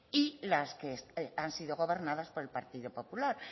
y las que han sido gobernadas por el partido popular